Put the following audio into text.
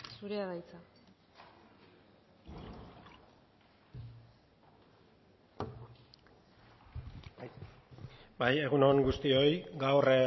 zurea da hitza bai egun on guztioi gaur